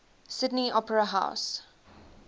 sydney opera house